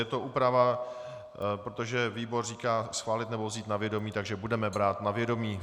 Je to úprava, protože výbor říká: schválit nebo vzít na vědomí, takže budeme brát na vědomí.